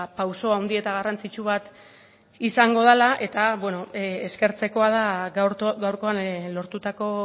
pauso handi eta garrantzitsu bat izango dela eta eskertzekoa da gaurkoan lortutako